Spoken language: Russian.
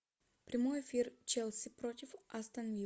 прямой эфир челси против астон виллы